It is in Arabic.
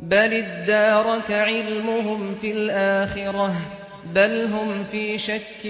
بَلِ ادَّارَكَ عِلْمُهُمْ فِي الْآخِرَةِ ۚ بَلْ هُمْ فِي شَكٍّ